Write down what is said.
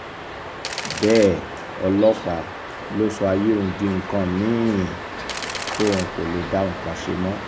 bẹ́ẹ̀ ọlọ́pàá ló sọ ayé òun di nǹkan mì-ín tóun kò lè dá nǹkan kan ṣe mọ́